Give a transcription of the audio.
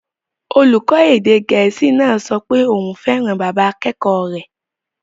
Olùkọ́ èdè Gẹ̀ẹ́sì náà sọ pé òun fẹ́ràn bàbá akẹ́kọ̀ọ́ rẹ̀